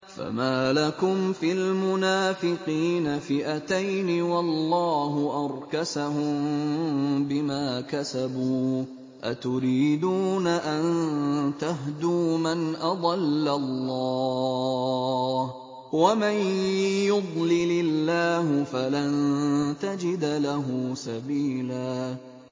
۞ فَمَا لَكُمْ فِي الْمُنَافِقِينَ فِئَتَيْنِ وَاللَّهُ أَرْكَسَهُم بِمَا كَسَبُوا ۚ أَتُرِيدُونَ أَن تَهْدُوا مَنْ أَضَلَّ اللَّهُ ۖ وَمَن يُضْلِلِ اللَّهُ فَلَن تَجِدَ لَهُ سَبِيلًا